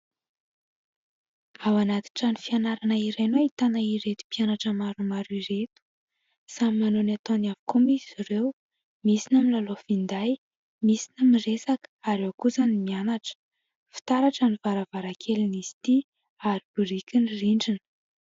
Ao anaty trano fianarana iray no ahitana ireto mpianatra maromaro ireto. Samy manao ny ataony avokoa moa izy ireo, misy ny milalao finday, misy ny miresaka ary ao kosa ny mianatra. Fitaratra ny varavarankelin'izy ity ary biriky ny rindrina.